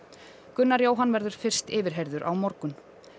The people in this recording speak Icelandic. Gunnar Jóhann verður fyrst yfirheyrður á morgun